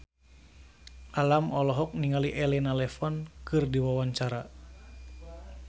Alam olohok ningali Elena Levon keur diwawancara